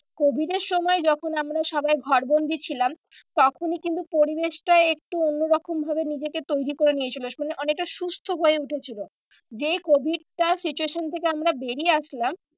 Covid এর সময় যখন আমরা সবাই ঘর বন্দি ছিলাম। তখনই কিন্তু পরিবেশটা একটু অন্য রকম ভাবে নিজেকে তৈরী করে নিয়েছিল অনেকটা সুস্থ হয়ে উঠেছিল। যে covid টা situation থেকে আমরা বেরিয়ে আসলাম